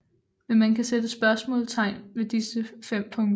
Men man kan sætte spørgsmålstegn ved disse fem punkter